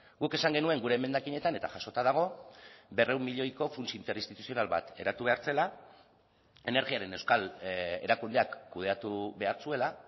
guk esan genuen gure emendakinetan eta jasota dago berrehun milioiko funts interinstituzional bat eratu behar zela energiaren euskal erakundeak kudeatu behar zuela